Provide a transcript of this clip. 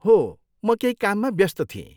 हो! म केही काममा व्यस्त थिएँ।